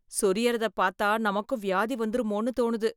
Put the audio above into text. சொரியறதை பார்த்தா நமக்கும் வியாதி வந்திருமோன்ணு தோணுது